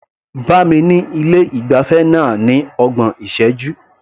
Bá mi ní ilé ìgbafẹ́ náà ní ọgbọ̀n ìṣẹ́jú.